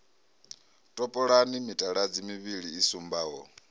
topolani mitaladzi mivhili i sumbaho